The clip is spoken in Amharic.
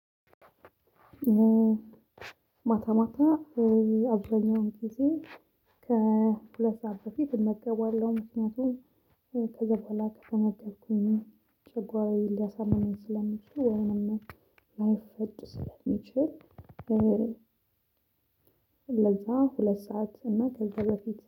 ማታ ማታ አብዛኛውን ጊዜ ከሁለት ሰዓት በፊት እመገባለሁ ምክንያቱም ከዛ በኋላ ከተመገብኩኝ ጨጓራዬን ሊያሳምመኝ ስለሚችል ወይንም ላይፈጭ ስለሚችል። ለዛ ሁለት ሰዓት እና ከዛ በፊት